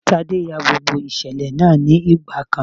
Tádé ya gbogbo ìṣẹ̀lẹ̀ náà ní ìgbà kan.